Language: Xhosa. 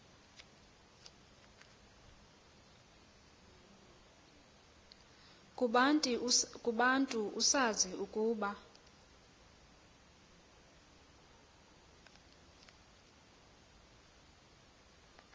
kubantu usazi ukuba